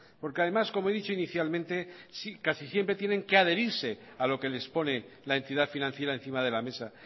porque además como he dicho inicialmente casi siempre tienen que adherirse a lo que les pone la entidad financiera encima de la mesa